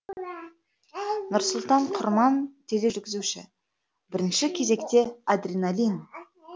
нұрсұлтан құрман тележүргізуші бірінші кезекте адреналин